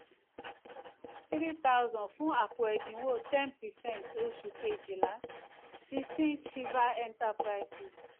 three thousand fún àpò ẹ̀dínwó ten percent oṣù kejìlá sixteen shiva enterprises.